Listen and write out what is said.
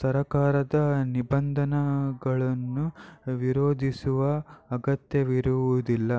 ಸರಕಾರದ ನಿಬಂಧನೆಗಳನ್ನು ವಿರೋಧಿಸುವ ಅಗತ್ಯವಿರುವುದಿಲ್ಲ